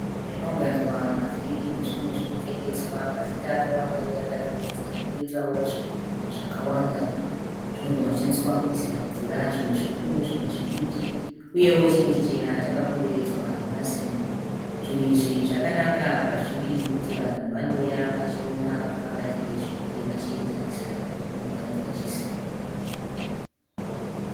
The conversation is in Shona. Nzvimbo yakaunganidzwa mavhiri nezvimwe zvekutengeswa. Mavhiri akawanda uye akadurikidzana. Koitawo zvigubhu zvakawanda zvinogona kushandiswa kuisira mvura zvimwe zvikuru zvimwe zvidiki. Uyewo chimwe chichena chakakomberedzwa nemasimbi. Zvinhu izvi zvakanaka pazviri nokuti vanhu vanouya vachiona kuti vangatenge zvipi vachienzanisa nekumwe kwavanenge vachiziva.